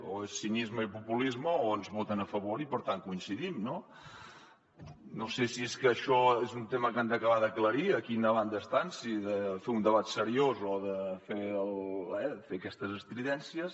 o és cinisme i populisme o ens voten a favor i per tant coincidim no no sé si és que això és un tema que han d’acabar d’aclarir a quina banda estan si de fer un debat seriós o de fer aquestes estridències